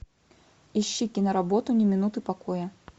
ищи киноработу ни минуты покоя